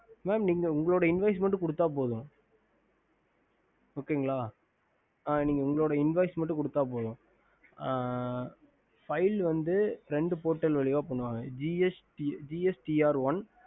mam நீங்க உங்களோட invoices குடுத்த போதும் okay நீங்க உங்களோட invoices குடுத்த போதும் file வந்து இரண்டு portal வழியா பண்ணுவாங்க ஒன்னு வந்து gstrone